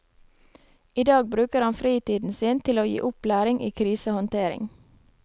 I dag bruker han fritiden sin til å gi opplæring i krisehåndtering.